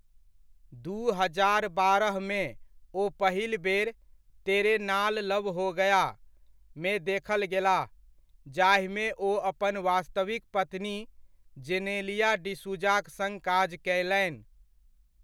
दू हजार बारहमे, ओ पहिल बेर 'तेरे नाल लव हो गया' मे देखल गेलाह, जाहिमे ओ अपन वास्तविक पत्नी जेनेलिया डिसूजाक सङ्ग काज कयलनि।